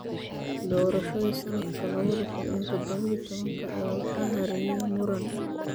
Doorashadii sanadka labada kun iyo toddoba iyo tobanka ayaa waxaa hareeyay muran.